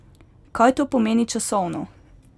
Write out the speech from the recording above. Kaj to pomeni časovno?